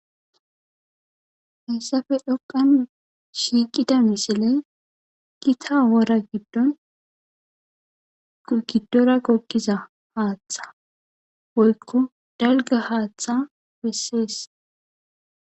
Hessafe dhoqan shiiqida misile gita wora giddon gidora kokiza haaththa woykko dalga haaththa pessees